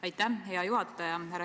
Aitäh, hea juhataja!